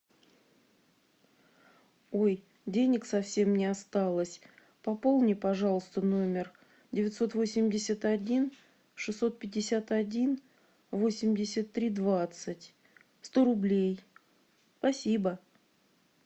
ой денег совсем не осталось пополни пожалуйста номер девятьсот восемьдесят один шестьсот пятьдесят один восемьдесят три двадцать сто рублей спасибо